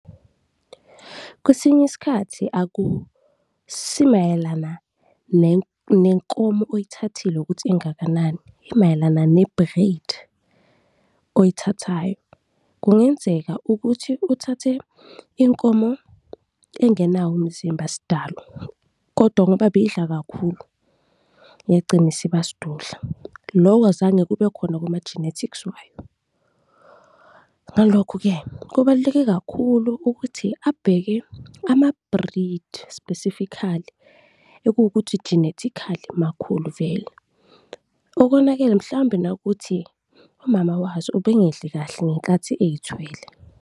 Kwesinye isikhathi akusi mayelana nenkomo oyithathile ukuthi ingakanani, imayelana ne-breed oyithathayo. Kungenzeka ukuthi uthathe inkomo engenawo umzimba sdalo kodwa ngoba beyidla kakhulu, yagcina isiba sdudla, lokho azange kube khona kuma-genetics wayo. Ngalokho-ke, kubaluleke kakhulu ukuthi abheke ama-breed specifically ekuwukuthi genetically makhulu vele, okonakele mhlawumbe nawukuthi umama wazo ube ngedli kahle ngenkathi eyithwele.